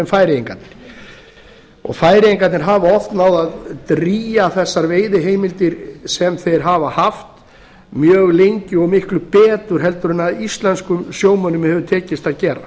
færeyingarnir og færeyingarnir hafa oft náð að drýgja þessar veiðiheimildir sem þeir hafa haft mjög lengi og miklu betur heldur en íslenskum sjómönnum hefur tekist að gera